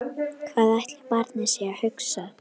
Hvað ætli barnið sé að hugsa?